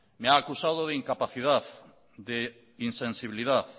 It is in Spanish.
me ha acusado de incapacidad de insensibilidad